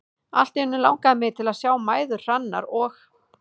Allt í einu langaði mig til að sjá mæður Hrannar og